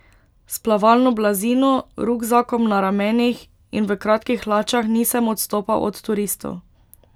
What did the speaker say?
S plavalno blazino, rukzakom na ramenih in v kratkih hlačah nisem odstopal od turistov.